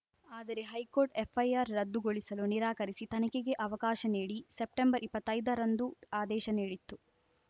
ಆದರೆ high court FIR ರದ್ದುಗೊಳಿಸಲು ನಿರಾಕರಿಸಿ ತನಿಖೆಗೆ ಅವಕಾಶ ನೀಡಿ ಸೆಪ್ಟೆಂಬರ್ಇಪ್ಪತ್ತೈದರಂದು ಆದೇಶ ನೀಡಿತ್ತು